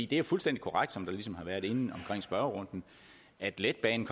det er fuldstændig korrekt som det ligesom har været inde i spørgerunden at letbanen